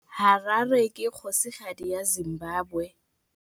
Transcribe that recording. Harare ke kgosigadi ya Zimbabwe.